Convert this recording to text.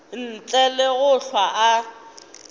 ntle le go hlwa a